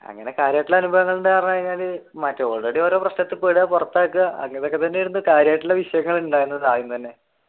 അങ്ങനെ കാര്യമായിട്ടുള്ള എന്താ പറഞ്ഞു കഴിഞ്ഞാൽ മറ്റേ ഓരോ പ്രശ്നത്തിൽ പോയിപെടുക പുറത്താക്കുക അങ്ങനെയൊക്കെത്തന്നെയായിരുന്നു, കാര്യമായിട്ടുളള വിഷയങ്ങൾ ഉണ്ടായതു ആദ്യം തന്നെ